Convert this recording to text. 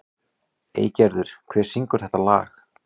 Eygerður, hver syngur þetta lag?